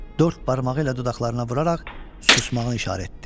Dörd barmağı ilə dodaqlarına vuraraq susmağını işarət etdi.